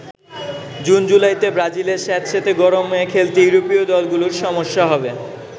জুন-জুলাইতে ব্রাজিলের স্যাঁতসেঁতে গরমে খেলতে ইউরোপীয় দলগুলোর সমস্যা হবে।